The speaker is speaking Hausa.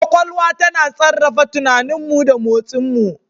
Kwakwalwa tana sarrafa tunaninmu da motsinmu.